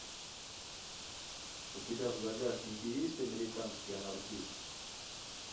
у тебя в загашнике есть американский анархист